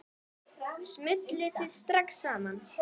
Smulluð þið strax saman?